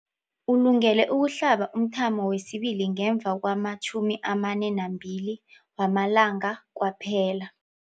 Ulungele ukuhlaba umthamo wesibili ngemva kwama-42 wamalanga kwaphela.